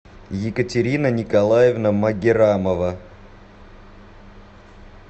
екатерина николаевна магеррамова